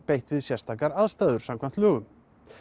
beitt við sérstakar aðstæður